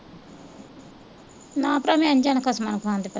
ਨਾ ਭਰਾ ਮੈਂ ਨੀ ਜਾਣਾ ਖਸਮਾਂ ਨੂੰ ਖਾਣ